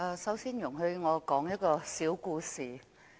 首先，容許我說一個小故事。